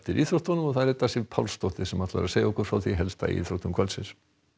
íþróttum og það er Edda Sif Pálsdóttir sem ætlar að segja okkur frá því helsta í íþróttum kvöldsins